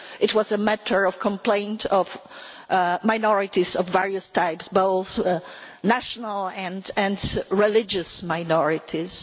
It was a matter of complaint by minorities of various types, both national and religious minorities.